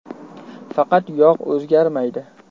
Faqat yog‘ o‘zgarmaydi.